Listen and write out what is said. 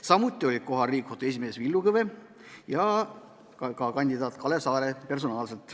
Samuti olid kohal Riigikohtu esimees Villu Kõve ja ka kandidaat Kalev Saare.